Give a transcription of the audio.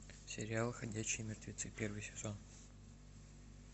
сериал ходячие мертвецы первый сезон